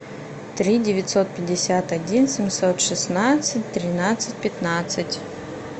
три девятьсот пятьдесят один семьсот шестнадцать тринадцать пятнадцать